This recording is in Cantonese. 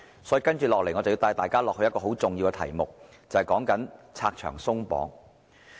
所以，我接下來帶大家進入一個十分重要的題目，便是拆牆鬆綁。